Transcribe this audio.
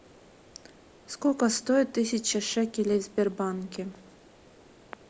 сколько стоит тысяча шекелей в сбербанке